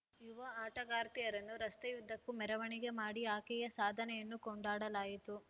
ಯುವ ಆಟಗಾರ್ತಿಯರನ್ನು ರಸ್ತೆಯುದ್ದಕ್ಕೂ ಮೆರವಣಿಗೆ ಮಾಡಿ ಆಕೆಯ ಸಾಧನೆಯನ್ನು ಕೊಂಡಾಡಲಾಯಿತು